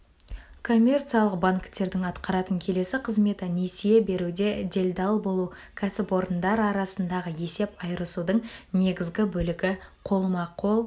коммерциялық банктердің атқаратын келесі қызметі несие беруде делдал болу кәсіпорындар арасындағы есеп айырысудың негізгі бөлігі қолма-қол